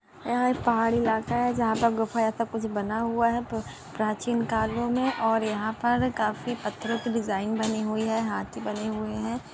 यहाँ एक पहाड़ी इलाका है जहा गुफा ऐसा कुछ बना हुआ है। प्राचीन कालो मे और यहाँ पर काफी पत्थरो की डिज़ाइन बनी हुई है हाथी बने हुए है।